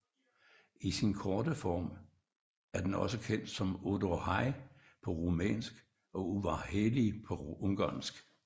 I sin korte form er den også kendt som Odorhei på rumænsk og Udvarhely på ungarsk